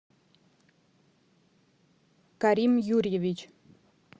карим юрьевич